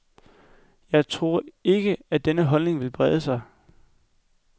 Jeg tror ikke, at denne holdning vil brede sig.